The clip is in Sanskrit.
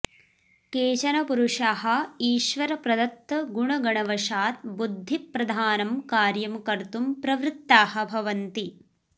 केचन पुरुषाः ईश्वरप्रदत्तगुणगणवशाद् बिध्दिप्रधानं कार्यं कर्तुं प्रवृत्ताः भवन्ति